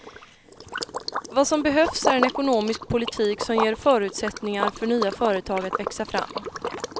Vad som behövs är en ekonomisk politik som ger förutsättningar för nya företag att växa fram.